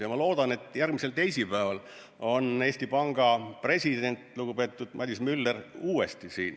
Ja ma loodan, et järgmisel teisipäeval on Eesti Panga president, lugupeetud Madis Müller uuesti siin.